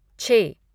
छः